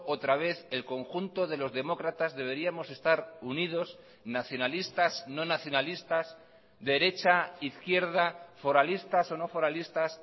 otra vez el conjunto de los demócratas deberíamos estar unidos nacionalistas no nacionalistas derecha izquierda foralistas o no foralistas